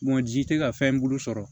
Bon ji tɛ ka fɛn bulu sɔrɔ